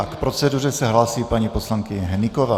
A k proceduře se hlásí paní poslankyně Hnyková.